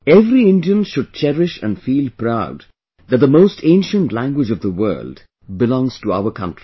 every Indian should cherish and feel proud that the most ancient language of the world belongs to our country